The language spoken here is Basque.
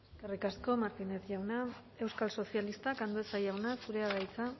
eskerrik asko martínez jauna euskal sozialistak andueza jauna zurea da hitza